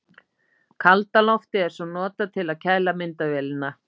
Kalda loftið er svo notað til að kæla myndavélina.